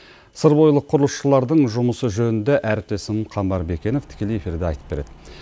сыр бойылық құрылысшылардың жұмысы жөнінде әріптесім қамбар бикенов тікелей эфирде айтып береді